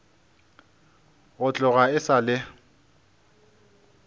go tloga e sa le